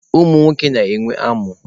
Ụmụ nwoke na-enwe amụ.